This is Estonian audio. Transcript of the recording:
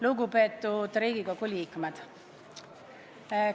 Lugupeetud Riigikogu liikmed!